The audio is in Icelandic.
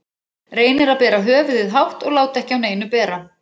Reynir að bera höfuðið hátt og láta ekki á neinu bera.